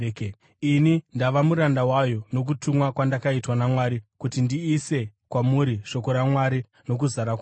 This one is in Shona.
Ini ndava muranda wayo nokutumwa kwandakaitwa naMwari kuti ndiise kwamuri shoko raMwari nokuzara kwaro,